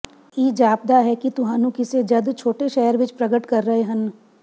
ਇਹ ਜਾਪਦਾ ਹੈ ਕਿ ਤੁਹਾਨੂੰ ਕਿਸੇ ਜੱਦ ਛੋਟੇ ਸ਼ਹਿਰ ਵਿੱਚ ਪ੍ਰਗਟ ਕਰ ਰਹੇ ਹਨ